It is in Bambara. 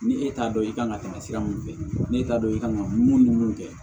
Ni e t'a dɔn i kan ka tɛmɛ sira mun fɛ n'e t'a dɔn i kan ka mun ni mun kɛ